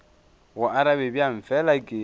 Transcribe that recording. go arabe bjang fela ke